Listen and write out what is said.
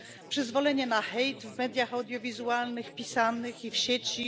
Przyzwolenie na hejt w mediach audiowizualnych, pisanych i w sieci.